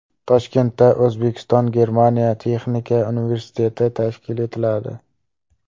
Toshkentda O‘zbekistonGermaniya texnika universiteti tashkil etiladi.